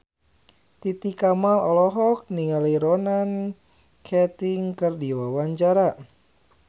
Titi Kamal olohok ningali Ronan Keating keur diwawancara